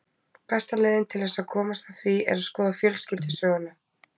Besta leiðin til þess að komast að því er að skoða fjölskyldusöguna.